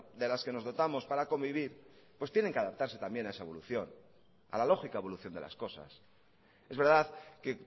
de las que nos dotamos para convivir pues tienen que adaptarse también a esa evolución a la lógica evolución de las cosas es verdad que